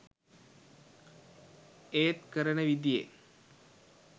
ඒත් කරන විදියේ